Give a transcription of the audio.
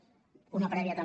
una prèvia també